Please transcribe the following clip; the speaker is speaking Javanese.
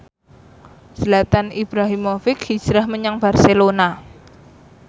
Zlatan Ibrahimovic hijrah menyang Barcelona